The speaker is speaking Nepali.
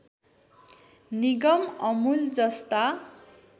निगम अमूल जस्ता